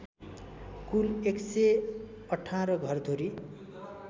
कुल ११८ घरधुरी